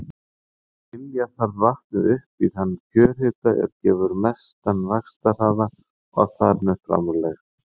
Ylja þarf vatnið upp í þann kjörhita er gefur mestan vaxtarhraða og þar með framlegð.